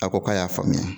A ko k'a y'a faamuya